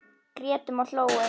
Grétum og hlógum.